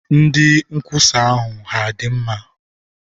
Ndị nkwusa ahụ hà dị mma?